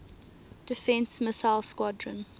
defense missile squadron